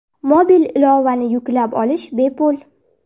Mobil ilovani yuklab olish bepul.